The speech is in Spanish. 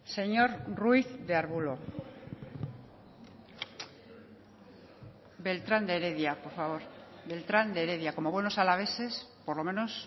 señor ruiz de arbulo beltrán de heredia por favor beltrán de heredia como buenos alaveses por lo menos